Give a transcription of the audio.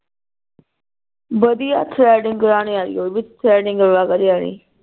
ਵਧੀਆ ਥਰੇਅਡੀਂਗ ਕਰਾਨੀ ਆਈ ਓਵ ਥਰੇਅਡੀਂ